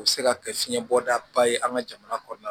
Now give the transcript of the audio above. O bɛ se ka kɛ fiɲɛ bɔda ye an ka jamana kɔnɔna na